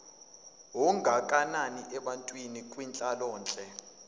ongakanani ebantwini kwinhlalonhle